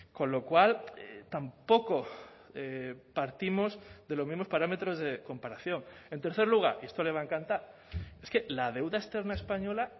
con lo cual tampoco partimos de los mismos parámetros de comparación en tercer lugar y esto le va a encantar es que la deuda externa española